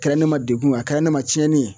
Kɛra ne ma degun ye a kɛra ne ma cɛnni ye